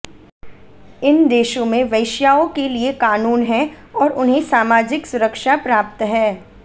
इन देशो में वैश्याओ के लिए कानून है और उन्हें सामाजिक सुरक्षा प्राप्त है